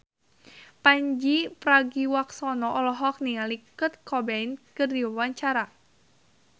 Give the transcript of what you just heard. Pandji Pragiwaksono olohok ningali Kurt Cobain keur diwawancara